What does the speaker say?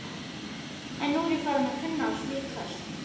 En nú er ég farin að kunna á slík köst.